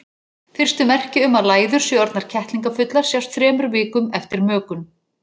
Fyrstu merki um að læður séu orðnar kettlingafullar sjást þremur vikum eftir mökun.